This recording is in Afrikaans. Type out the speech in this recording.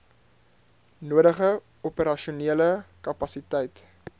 nodige operasionele kapasiteit